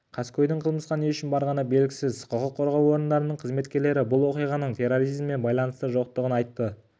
қаскөйдің қылмысқа не үшін барғаны белгісіз құқық қорғау орындарының қызметкерлері бұл оқиғаның терроризммен байланысы жоқтығын айтты